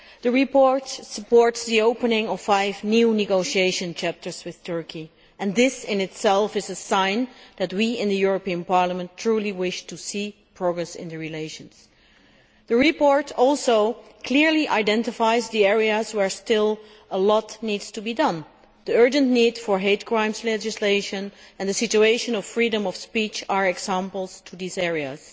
The report supports the opening of five new negotiation chapters with Turkey, and this in itself is a sign that we in Parliament truly wish to see progress in relations. The report also clearly identifies the areas where a lot still needs to be done. The urgent need for hate crime legislation and the situation of the freedom of speech are examples in these areas.